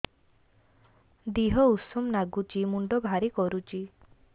ଦିହ ଉଷୁମ ନାଗୁଚି ମୁଣ୍ଡ ଭାରି କରୁଚି